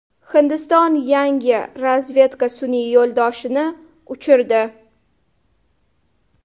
Hindiston yangi razvedka sun’iy yo‘ldoshini uchirdi.